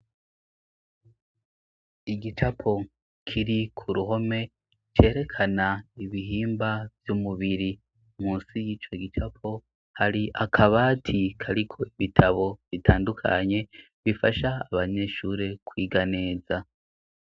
Igicapo kiri ku ruhome cerekana ibihimba vy'umubiri munsi y'ico gicapo hari akaba atariko ibitabo bitandukanye bifasha abanyeshuri kwiga neza.